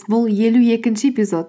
бұл елу екінші эпизод